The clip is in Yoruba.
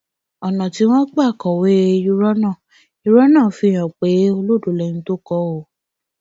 ọnà tí wọn gbà kọwé irọ náà irọ náà fihàn pé olódó lẹni tó kọ ọ